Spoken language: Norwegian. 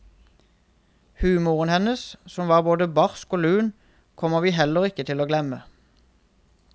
Humoren hennes, som var både barsk og lun, kommer vi heller ikke til å glemme.